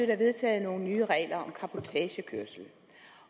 der vedtaget nogle nye regler om cabotagekørsel